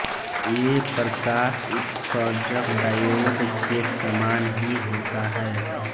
ये प्रकाश उत्सर्जक डायोड के समान ही होता है